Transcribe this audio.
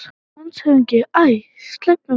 LANDSHÖFÐINGI: Æ, sleppum nú því!